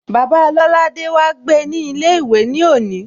Bàbáa Lolade wá gbe ní ilé ìwé ní òní